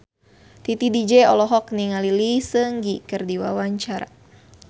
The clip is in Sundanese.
Titi DJ olohok ningali Lee Seung Gi keur diwawancara